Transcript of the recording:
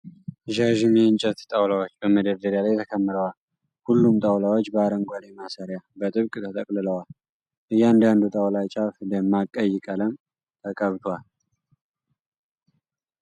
ዣዥም የእንጨት ጣውላዎች በመደርደሪያ ላይ ተከምረዋል። ሁሉም ጣውላዎች በአረንጓዴ ማሰሪያ በጥብቅ ተጠቅልለዋል። የእያንዳንዱ ጣውላ ጫፍ ደማቅ ቀይ ቀለም ተቀብቷል ።